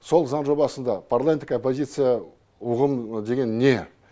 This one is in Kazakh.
сол заң жобасында парламенттік оппозиция ұғым деген не